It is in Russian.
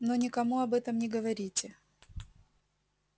но никому об этом не говорите